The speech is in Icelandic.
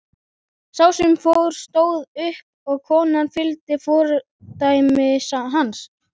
Sá sem fór stóð upp og konan fylgdi fordæmi hans.